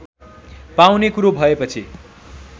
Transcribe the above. पाउने कुरो भएपछि